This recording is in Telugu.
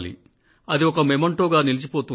అది ఒక స్మృతి చిహ్నంగా నిలిచిపోతుంది